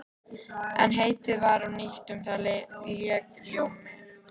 En heitið var nýtt og um það lék ljómi.